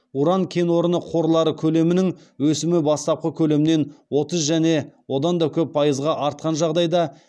уран кен орны қорлары көлемінің өсімі бастапқы көлемнен отыз және одан да көп пайызға артқан жағдайда